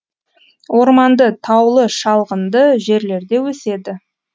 орманды таулы шалғынды жерлерде өседі